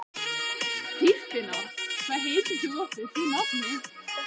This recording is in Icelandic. Dýrfinna, hvað heitir þú fullu nafni?